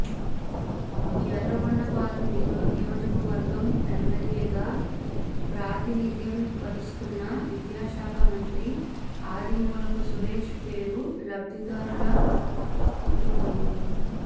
ఎర్రగొండపాలెం నియోజకవర్గం ఎమ్మెల్యేగా ప్రాతినిధ్యం వహిస్తున్న విద్యాశాఖ మంత్రి ఆదిమూలపు సురేష్ పేరు లబ్ధిదారుల ఉండిపోయింది